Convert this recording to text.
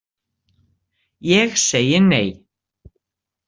Ég segi nei.